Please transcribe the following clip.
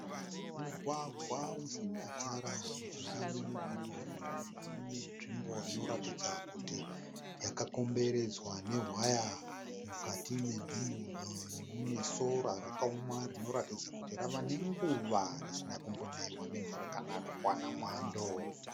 Mugwagwa usina tara. Mujinga memugwagwa uyu mune nzvimbo inoratidza kuti yakakomberedzwa nehwaya. Mukati menzvimbo iyi mune sora rakaoma rinoratidza kuti rave nenguva risina kumbonaiwa nemvura kana kuwana mwando.